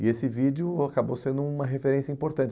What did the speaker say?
E esse vídeo acabou sendo uma referência importante.